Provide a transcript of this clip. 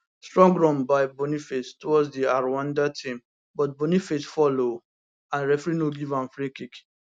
strong run by boniface towards di rwanda team but boniface fall oooo and referee no give am free kick